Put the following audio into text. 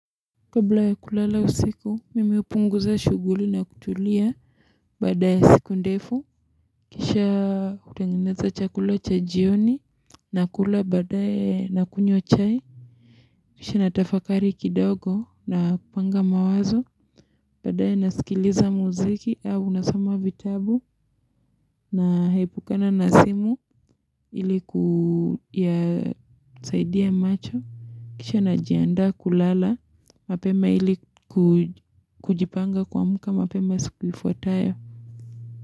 Kabla ya kulala usiku mimi upunguza shuguli na kutulia badaya siku ndefu kisha kutengeneza chakula cha jioni nakula badaya na kunywa chai kisha natafakari kidogo na kupanga mawazo badaya nasikiliza muziki au unasama vitabu na haipukana na simu ili kuyasaidia macho Kisha najianda kulala, mapema ili kujipanga kuamka, mapema sikuifuataya.